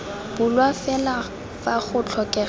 bulwa fela fa go tlhokega